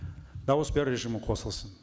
дауыс беру режимі қосылсын